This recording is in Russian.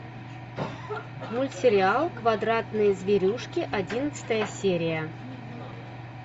мультсериал квадратные зверюшки одиннадцатая серия